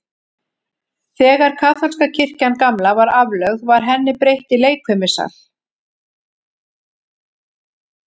Þegar kaþólska kirkjan gamla var aflögð, var henni breytt í leikfimisal.